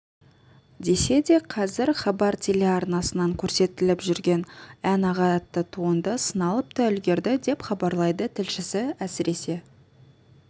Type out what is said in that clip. десе де қазір хабар телеарнасынан көрсетіліпжүрген ән-аға атты туынды сыналып та үлгерді деп хабарлайды тілшісі әсіресе